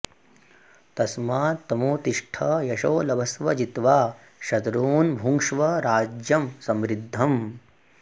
तस्मात्त्वमुत्तिष्ठ यशो लभस्व जित्वा शत्रून् भुङ्क्ष्व राज्यं समृद्धम्